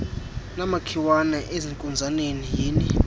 namakhiwane ezinkunzaneni yhini